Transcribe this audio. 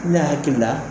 Ne hakili la